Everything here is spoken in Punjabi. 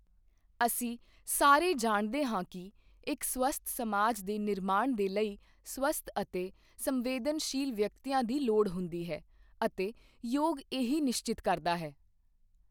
ਅਸੀਂ ਸਾਰੇ ਜਾਣਦੇ ਹਾਂ ਕਿ ਇੱਕ ਸਵਸਥ ਸਮਾਜ ਦੇ ਨਿਰਮਾਣ ਦੇ ਲਈ ਸਵਸਥ ਅਤੇ ਸੰਵੇਦਨਸ਼ੀਲ ਵਿਅਕਤੀਆਂ ਦੀ ਲੋੜ ਹੁੰਦੀ ਹੈ ਅਤੇ ਯੋਗ ਇਹੀ ਨਿਸ਼ਚਿਤ ਕਰਦਾ ਹੈ।